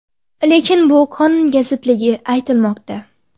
Lekin bu qonunga zidligi aytilmoqda.